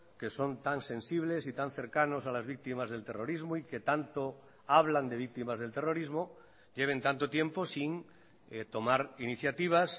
que son tan sensibles y tan cercanos a las víctimas del terrorismo y que tanto hablan de víctimas del terrorismo lleven tanto tiempo sin tomar iniciativas